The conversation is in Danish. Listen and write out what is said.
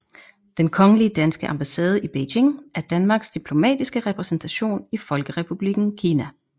Den Kongelige Danske Ambassade i Beijing er Danmarks diplomatiske repræsentation i Folkerepublikken Kina